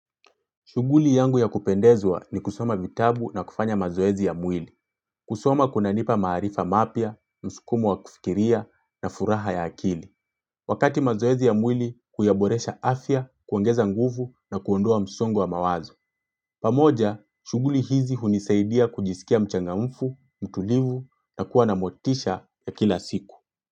Shuguli yangu ya kupendezwa ni kusoma vitabu na kufanya mazoezi ya mwili. Kusoma kuna nipa maarifa mapya, msukumu wa kufikiria na furaha ya akili. Wakati mazoezi ya mwili, kuyaboresha afya, kuongeza nguvu na kuondoa msongo wa mawazo. Pamoja, shuguli hizi hunisaidia kujisikia mchanga mfu, mtulivu na kuwa na motisha ya kila siku.